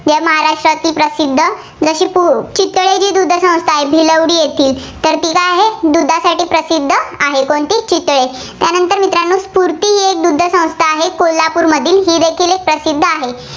या महाराष्ट्रात प्रसिद्ध. जशी पुचितळे जी दुग्ध संस्था आहे, भिलवडी येथे, तर ती काय आहे, दुधासाठी प्रसिद्ध आहे. कोणती चितळे? त्यानंतर मित्रांनो स्फुर्ती दुग्ध संस्था आहे कोल्हापूरमध्ये, ही देखील प्रसिद्ध आहे.